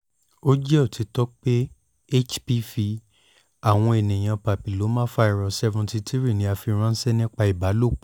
o jẹ otitọ pe hpv awọn eniyan papilloma virus seventy three ni a fi ranṣẹ nipasẹ ibalopo